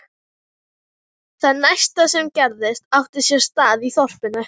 Það næsta sem gerðist átti sér stað í þorpinu.